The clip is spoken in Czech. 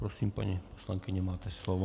Prosím, paní poslankyně, máte slovo.